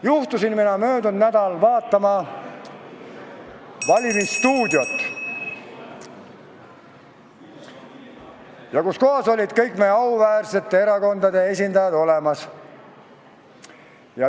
Juhtusin mina möödunud nädal vaatama "Valimisstuudiot", kus olid kõigi meie auväärsete erakondade esindajad kohal.